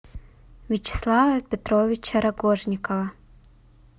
вячеслава петровича рогожникова